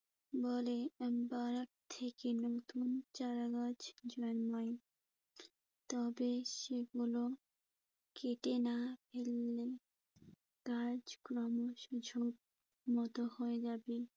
বলে। পাহাড় থেকে নতুন চারা গাছ জন্মায়। তবে সেগুলো কেটে না ফেললে গাছ ক্রমশ ঝোঁপ মতো হয়ে যাবে।